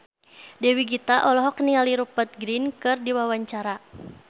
Dewi Gita olohok ningali Rupert Grin keur diwawancara